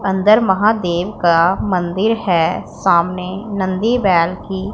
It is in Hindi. अंदर महादेव का मंदिर है सामने नंदी बैल की--